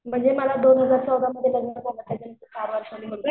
म्हणजे मला दोन हजार चौदामध्ये लग्न झालं त्याच्यानंतर चार वर्षाने मुलगा झाला.